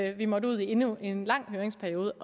at vi måtte ud i endnu en lang høringsperiode